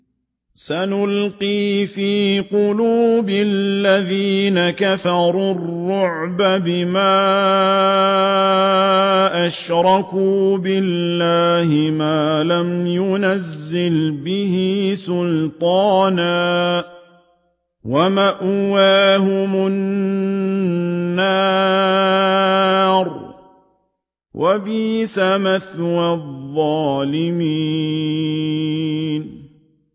سَنُلْقِي فِي قُلُوبِ الَّذِينَ كَفَرُوا الرُّعْبَ بِمَا أَشْرَكُوا بِاللَّهِ مَا لَمْ يُنَزِّلْ بِهِ سُلْطَانًا ۖ وَمَأْوَاهُمُ النَّارُ ۚ وَبِئْسَ مَثْوَى الظَّالِمِينَ